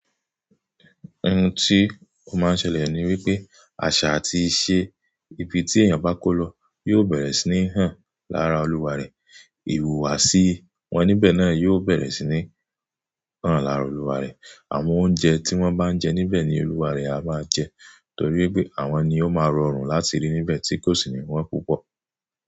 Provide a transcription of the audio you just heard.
Ohun tí ó máa ń ṣẹlẹ̀ ni wípé àṣà àti ìṣe ibi tí èèyàn bá kó lọ yóò bẹ̀rẹ̀ sí ní hàn lára olúwarẹ̀. Iwùwàsí wọn níbẹ̀ náà yóò bẹ̀rẹ̀ sí ní hàn lára olúwa rẹ̀. Àwọn oúnjẹ tí wọ́n bá ń jẹ níbẹ̀ ni olúwarẹ̀ á máa jẹ, torí wípé àwọn ni ó máa rọrùn láti rí níbẹ̀ tí kò sì ní wọ́n púpọ̀.